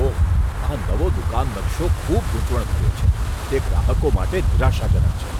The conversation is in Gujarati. ઓહ, આ નવો દુકાન નકશો ખૂબ ગૂંચવણભર્યો છે. તે ગ્રાહકો માટે નિરાશાજનક છે.